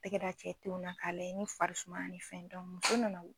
Tɛgɛ da cɛ tenw na k'a layɛ ni fari sumana ni fɛn muso nana